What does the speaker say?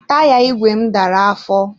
Taya ìgwè m dara afọ.